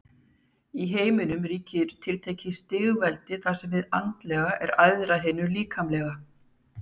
Í heiminum ríkir tiltekið stigveldi þar sem hið andlega er æðra hinu líkamlega.